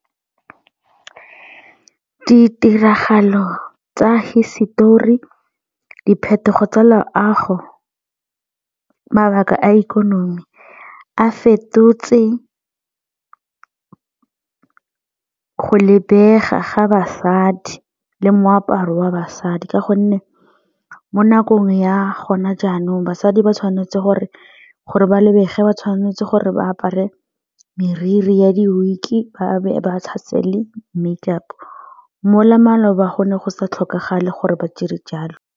Ditiragalo tsa hisetori, diphetogo tsa loago, mabaka a ikonomi a fetotse go lebega ga basadi le moaparo wa basadi ka gonne mo nakong ya gona jaanong basadi ba tshwanetse gore ba lebege ba tshwanetse gore ba apare moriri ya di ba be ba tshase le make up mo maloba go ne go sa tlhokagala gore ba dire jalo.